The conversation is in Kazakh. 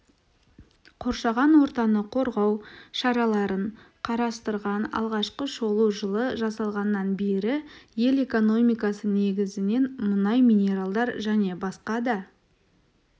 қоршаған ортаны қорғау шараларын қарастырған алғашқы шолу жылы жасалғаннан бері ел экономикасы негізінен мұнай минералдар және басқа да